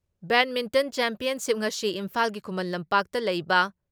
badminton championship ꯉꯁꯤ ꯏꯝꯐꯥꯜꯒꯤ ꯈꯨꯃꯟ ꯂꯝꯄꯥꯛꯇ ꯂꯩꯕ